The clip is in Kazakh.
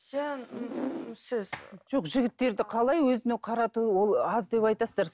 жоқ жігіттерді қалай өзіне қарату ол аз деп айтасыздар